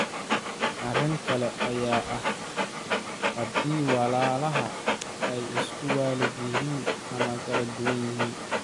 Arrin kale ayaa ah haddii walaalaha ay isku waalid yihiin ama kala duwan yihiin.